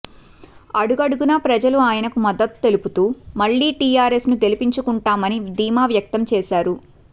అడుగడుగునా ప్రజలు ఆయనకు మద్దతు తెలుపుతూ మళ్లీ టీఆర్ఎస్ ను గెలుపించుకుంటామని ధీమా వ్యక్తం చేశారు